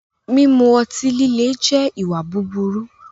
Mímú ọ̀tí-lílẹ̀ jẹ́ ìwà búburú